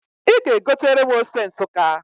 Ị ga-egotere m ose Nsukka